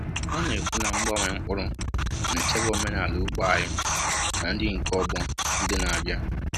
Ha na-ekwu na mgbanwe mkpụrụ na-echebe omenala ugbo anyị na nri nke ọgbọ ndị na-abịa.